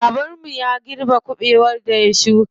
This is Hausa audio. Baban mu ya girbe kuɓewar da ya shuka.